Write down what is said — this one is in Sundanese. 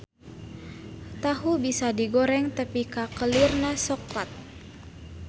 Tahu bisa digoreng tepi ka kelirna soklat.